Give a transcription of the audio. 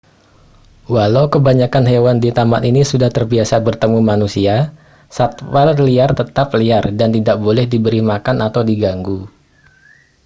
walau kebanyakan hewan di taman ini sudah terbiasa bertemu manusia satwa liar tetap liar dan tidak boleh diberi makan atau diganggu